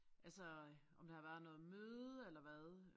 Altså om der har været noget møde eller hvad